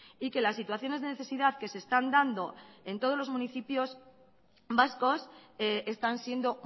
y que las situaciones de necesidad que se están dando en todos los municipios vascos están siendo